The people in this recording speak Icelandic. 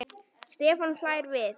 Stefán hlær við.